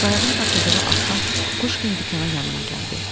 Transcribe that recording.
Qayığın tapıldığı axşam Kukuşkin dükana yanıma gəldi.